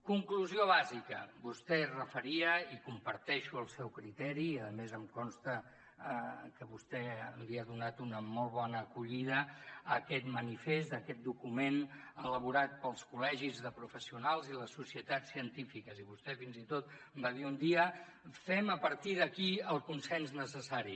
conclusió bàsica vostè es referia i comparteixo el seu criteri i a més em consta que vostè li ha donat una molt bona acollida a aquest manifest a aquest document elaborat pels col·legis de professionals i les societats científiques i vostè fins i tot va dir un dia fem a partir d’aquí el consens necessari